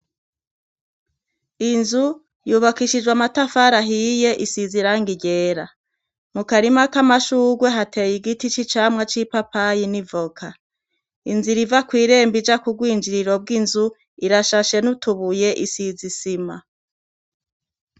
Inzu yubakishijwe amatafari ahiye isize irangi ryera. Mukarima kamashugwe hateye igiti c' icamwa, c' ipapayi n' icivoka inzira iva kwirembo ija kugwinjiriro bw' inzu irashashe n' utubuye isize isima.